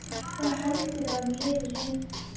Hvað heldurðu að hún lifi lengi?